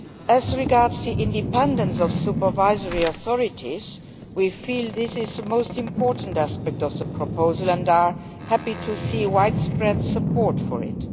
As regards the independence of the supervisory authorities, we feel that this is the most important aspect of the proposal and are happy to see widespread support for it.